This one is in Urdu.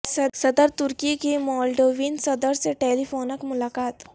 صدر ترکی کی مولڈووین صدر سے ٹیلی فونک ملاقات